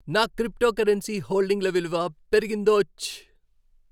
నా క్రిప్టోకరెన్సీ హోల్డింగ్ల విలువ పెరిగిందోచ్!